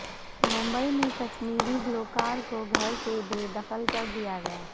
ممبئی میں کشمیری گلوکار کو گھر سے بے دخل کردیا گیا